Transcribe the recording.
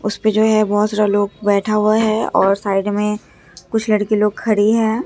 उसे पे जो है बहोत सारा लोग बैठा हुआ है और साइड में कुछ लड़की लोग खड़ी है।